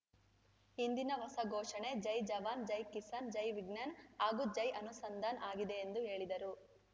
ಇಂದಿನ ಹೊಸ ಘೋಷಣೆ ಜೈ ಜವಾನ್‌ ಜೈ ಕಿಸಾನ್‌ ಜೈ ವಿಜ್ಞಾನ್‌ ಹಾಗೂ ಜೈ ಅನುಸಂಧಾನ್‌ ಆಗಿದೆ ಎಂದು ಹೇಳಿದರು